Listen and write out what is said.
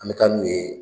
An bɛ taa n'u ye